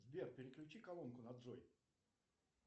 сбер переключи колонку на джой